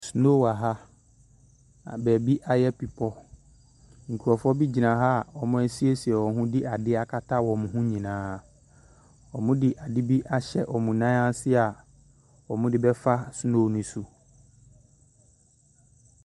Snow wɔ ha, na baabi ayɛ bepɔ. Nkurɔfoɔ bi gyina ha a wɔasiesie wɔn ho de adeɛ akata wɔn ho nyinaa. Wɔde adeɛ bi ahyɛ wɔn nan ase a wɔde bɛfa snow no so.